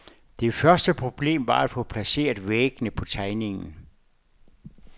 Det første problem var at få placeret væggene på tegningen.